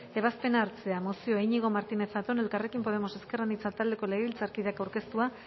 ebazpena hartzea mozioa iñigo martínez zatón elkarrekin podemos ezker anitza taldeko legebiltzarkideak aurkeztua